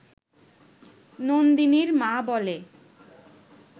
নন্দিনীর মা বলে